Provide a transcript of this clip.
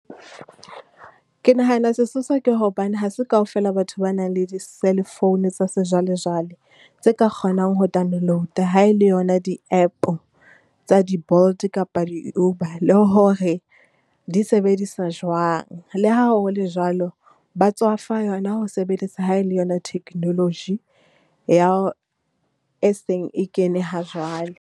Ke nahana sesosa ke hobane ha se kaofela batho ba nang le di cell phone tsa sejwalejwale, tse ka kgonang ho download-a ha e le yona di-app-o tsa di-Bolt kapa di-Uber, le hore di sebediswa jwang. Le ha ho le jwalo, ba tswafa yona ho sebeletsa ha e le yona technology, ya, e seng e kene hajwale.